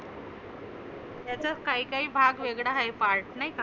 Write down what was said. याच्यात काही काही भाग वेगळ आहे part नाही का?